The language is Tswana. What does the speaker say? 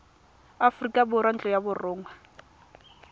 aforika borwa ntlo ya borongwa